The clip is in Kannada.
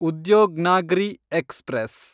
ಉದ್ಯೋಗ್ನಾಗ್ರಿ ಎಕ್ಸ್‌ಪ್ರೆಸ್